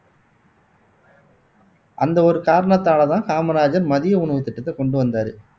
அந்த ஒரு காரணத்தாலதான் காமராஜர் மதிய உணவு திட்டத்தை கொண்டு வந்தாரு